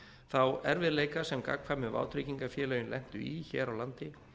þá erfiðleika sem gagnkvæmu vátryggingafélögin lentu í hér á landi